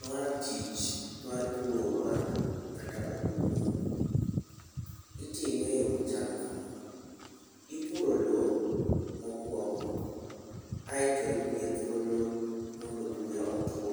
Ma tich mar puro bando kata oduma. Itime e yoo machalo kama : ipuro lowo mokwongo aeto imiye thuolo mondo buya otwo